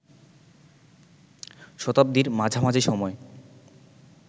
শতাব্দীর মাঝামাঝি সময়